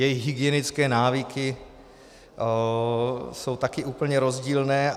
Jejich hygienické návyky jsou také úplně rozdílné.